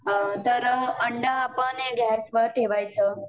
तर अंडं आपण गॅस वर ठेवायचं